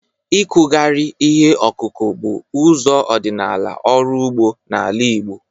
Ịkụgharị ihe ọkụkụ bụ ụzọ ọdịnala ọrụ ugbo n'ala Igbo.